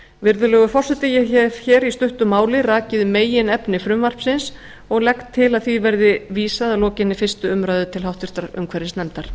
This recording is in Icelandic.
virðulegur forseti ég hef hér í stuttu máli rakið meginefni frumvarpsins og legg til að því verði vísað að lokinni fyrstu umræðu til háttvirtrar umhverfisnefndar